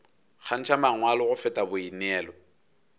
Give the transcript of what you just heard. kgantšha mangwalo go feta boineelo